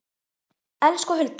Elsku Hulda.